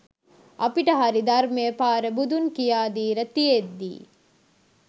අපිට හරි ධර්මය පාර බුදුන් කියා දීල තියෙද්දී?